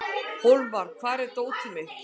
Hólmar, hvar er dótið mitt?